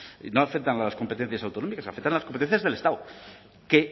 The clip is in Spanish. y no afectan a las competencias autonómicas afectan a las competencias del estado que